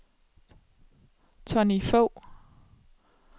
Tonny Fogh